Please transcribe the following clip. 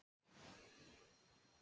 Í dag er hún sjö ára.